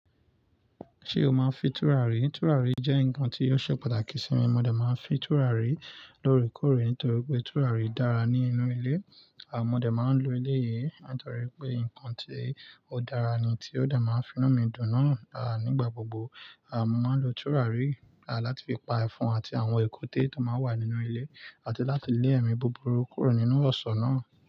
Ṣé o máa ń fi tùràrí? Tùràrí jẹ́ nǹkan tí ó ṣe pàtàkì sí mi. Mo dẹ máa ń fi tùràrí lóòrèkóòrè nítorí pé tùràrí dára ní inú ilé. Àn modé máa ń lo ilé yìí nítorí pé nǹkan tí ó dára ni tí ó dẹ máa ń fin mi dùn náà. À nígbà gbogbo, a máa ń lo tùràrí láti fi pa ẹfan àti àwọn èkúté tó máa wà nínú ilé àti láti lé ẹ̀mí búburú kúrò nínú ọ̀ṣọ́ náà.